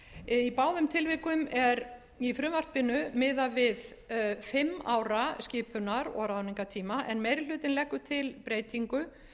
í báðum tilvikum er í frumvarpinu miðað við fimm ára skipunar og ráðnignartíam en meiri hlutinn leggur til breytingu